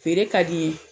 Feere ka di n ye